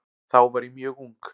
Þá var ég mjög ung.